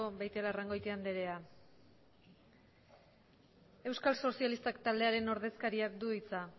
beitialarrangotia andrea euskal sozialistak taldearen ordezkariak du hitza